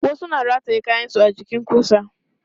Wasu na rataye kayansu a jikin ƙusa.